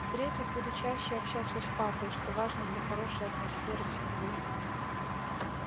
в-третьих буду чаще общаться с папой что важно для хорошей атмосферы в семье